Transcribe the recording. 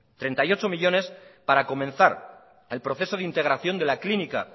treinta y ocho millónes para comenzar el proceso de integración de la clínica